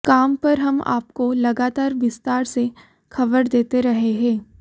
com पर हम आपको लगातार विस्तार से खबर देते रहे हैं